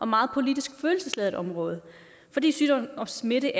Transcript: meget politisk følelsesladet område fordi sygdom og smitte